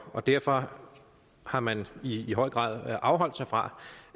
og derfor har man i høj grad afholdt sig fra